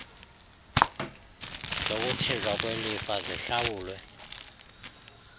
zokuthinjwa kwelifa zihlawulwe